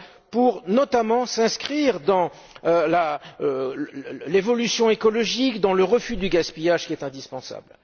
pour notamment s'inscrire dans l'évolution écologique et le refus du gaspillage, qui est indispensable.